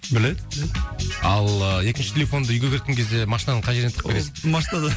біледі біледі ал ыыы екінші телефонды үйге кеткен кезде машинаның қай жеріне тығып кетесің ол машинада